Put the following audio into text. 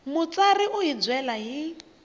mutsari u hi byela hi